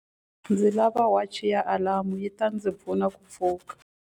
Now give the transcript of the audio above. Ndzi lava wachi ya alamu yi ta ndzi pfuna ku pfuka.